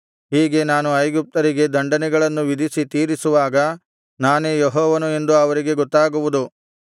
ಹೀಗೆ ನಾನು ಐಗುಪ್ತ್ಯರಿಗೆ ದಂಡನೆಗಳನ್ನು ವಿಧಿಸಿ ತೀರಿಸುವಾಗ ನಾನೇ ಯೆಹೋವನು ಎಂದು ಅವರಿಗೆ ಗೊತ್ತಾಗುವುದು